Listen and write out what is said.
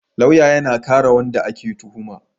lauya yAna kare wanda ake tuhuma